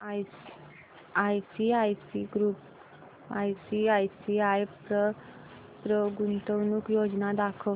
ICICI Pru गुंतवणूक योजना दाखव